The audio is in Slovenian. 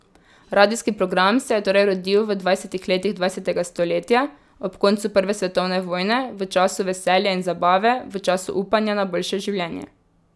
Radijski program se je torej rodil v dvajsetih letih dvajsetega stoletja, ob koncu prve svetovne vojne, v času veselja in zabave, v času upanja na boljše življenje.